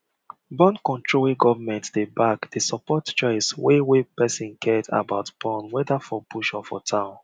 borncontrol wey government dey back dey support choice wey wey person get about born whether for bush or for town